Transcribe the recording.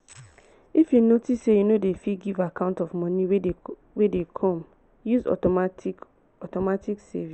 if you notice sey you no dey fit give account of money wey dey come use automatic automatic savings